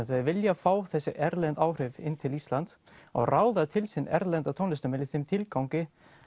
þeir vilja fá þessi erlendu áhrif inn til Íslands og ráða til sín erlenda tónlistarmenn í þeim tilgangi